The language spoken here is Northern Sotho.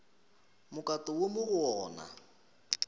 mokato wo mo go ona